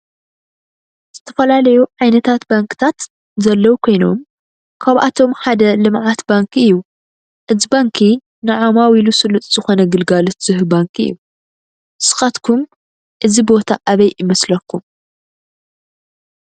ዝተፈላለዩ ዓይነታት ባንክታት ዘለዉ ኮይኖም ካብአቶም ሓደ ልምዓት ባንክ እዩ። እዚ ባንኪ ንዓማዊሉ ስሉጥ ዝኮነ ግልጋሎት ዝህብ ባንኪ እዩ። ንስካትኩም እዚ ቦታ አበይ ይመስለኩም?